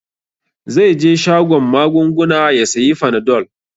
Zai je shagon magunguna ya sayi fanadol.